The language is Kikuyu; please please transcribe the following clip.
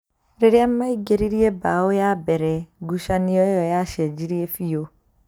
Rĩrĩa maingĩririe mbaũ ya mbere, ngucanio ĩyo yacenjirie biũ